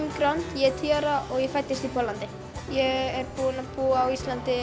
ég er tíu ára og ég fæddist í Póllandi ég er búin að búa á Íslandi